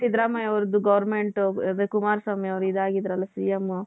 ಸಿದ್ದರಾಮಯ್ಯ ಅವರದ್ದು government ಅದೇ ಕುಮಾರಸ್ವಾಮಿ ಅವರು ಇದಾಗಿದ್ರಲ್ಲ C.M